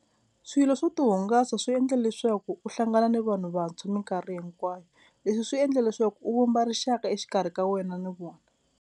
Swilo swo ti hungasa swi endla leswaku u hlangana ni vanhu vantshwa minkarhi hinkwayo leswi swi endle leswaku u vumba rixaka exikarhi ka wena ni vona.